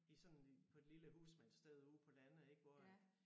I sådan på et lille husmandssted ude på landet ik hvor at